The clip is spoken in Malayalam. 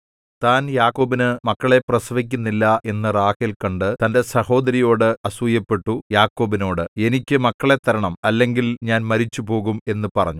താൻ യാക്കോബിന് മക്കളെ പ്രസവിക്കുന്നില്ല എന്നു റാഹേൽ കണ്ടു തന്റെ സഹോദരിയോട് അസൂയപ്പെട്ടു യാക്കോബിനോട് എനിക്ക് മക്കളെ തരണം അല്ലെങ്കിൽ ഞാൻ മരിച്ചുപോകും എന്നു പറഞ്ഞു